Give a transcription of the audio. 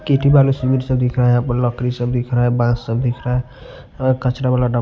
केटी बालू सिविर सब दिख रहा है यहां पर लॉकरी सब दिख रहा है बांस सब दिख रहा है और कचरा वाला--